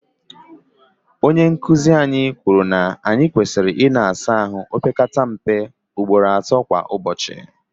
onye nkuzi anyi kwuru na anyi kwesiri ina asa ahu opekata mpe ugboro ato kwa ubochi